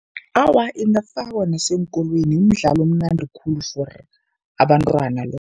Awa, ingafakwa naseenkolweni imidlalo omnandi khulu for abantwana lo.